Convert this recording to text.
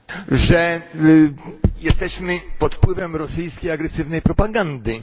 że jesteśmy pod wpływem rosyjskiej agresywnej propagandy.